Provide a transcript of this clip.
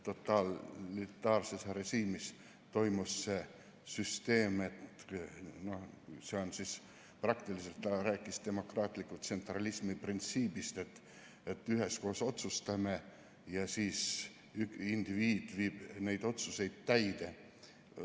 Totalitaarses režiimis toimis see süsteem, praktiliselt ta rääkis demokraatliku tsentralismi printsiibist, et üheskoos otsustame ja siis indiviid viib neid otsuseid täide.